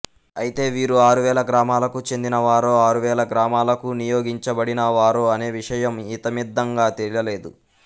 ఐతే వీరు ఆరువేల గ్రామాలకు చెందిన వారో ఆరువేల గ్రామాలకు నియోగించబడిన వారో అనే విషయం ఇతమిద్ధంగా తేలలేదు